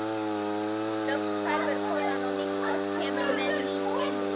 Loks hverfur konan og nýtt fólk kemur með ný skilrúm.